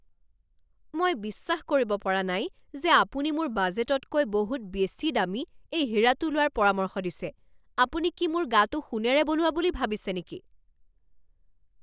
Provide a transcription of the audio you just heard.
মই বিশ্বাস কৰিব পৰা নাই যে আপুনি মোৰ বাজেটতকৈ বহুত বেছি দামী এই হীৰাটো লোৱাৰ পৰামৰ্শ দিছে! আপুনি কি মোৰ গাটো সোণেৰে বনোৱা বুলি ভাবিছে নেকি?